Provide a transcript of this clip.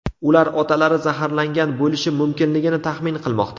Ular otalari zaharlangan bo‘lishi mumkinligini taxmin qilmoqda.